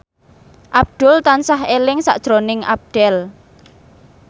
Abdul tansah eling sakjroning Abdel